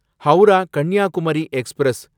Howrah Kanyakumari express